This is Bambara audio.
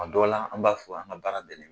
A dɔw la an b'a fɔ an ka baara de